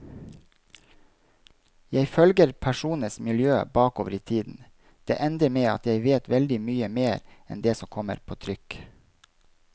Jeg følger personenes miljø bakover i tiden, det ender med at jeg vet veldig mye mer enn det som kommer på trykk.